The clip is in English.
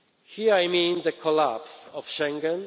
Here I mean the collapse of Schengen